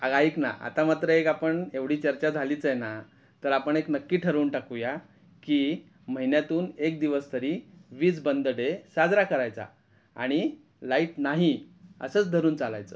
Laughter अग आइक ना आता मात्र एक आपण एवढी चर्चा झालीच आहे ना तर आपण नक्की ठरवून टाकूया कि महिन्यातून एक दिवस तरी वीज बंद डे साजरा करायचा आणि लाईट नाही असच धरून चालायचं .